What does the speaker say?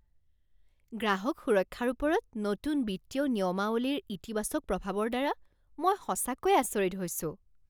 গ্ৰাহক সুৰক্ষাৰ ওপৰত নতুন বিত্তীয় নিয়মাৱলীৰ ইতিবাচক প্ৰভাৱৰ দ্বাৰা মই সঁচাকৈয়ে আচৰিত হৈছো।